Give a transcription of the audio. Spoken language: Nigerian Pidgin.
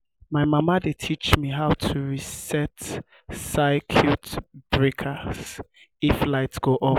my mama dey teach me how to reset circuit breakers if light go off.